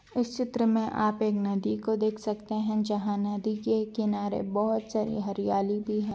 इस चित्र में आप एक नदी को देख सकते है जहाँ नदी के एक किनारे बहुत सारी हरियाली भी है।